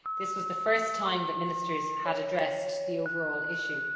This was the first time that Ministers had addressed the overall issue.